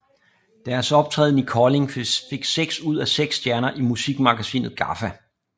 Deres optræden i Kolding fik seks ud af seks stjerner i musikmagasinet GAFFA